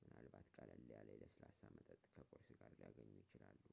ምናልባት ቀለል ያለ የለስላሳ መጠጥ ከቁርስ ጋር ሊያገኙ ይችላሉ